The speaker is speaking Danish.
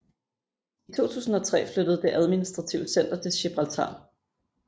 I 2003 flyttede det administrative center til Gibraltar